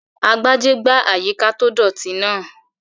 Agbájé gbá àyíká tó dọ̀ọ̀tì náà